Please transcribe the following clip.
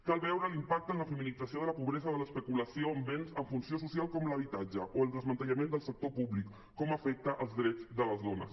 cal veure l’impacte en la feminització de la pobresa de l’especulació amb béns amb funció social com l’habitatge o el desmantellament del sector públic com afecta els drets de les dones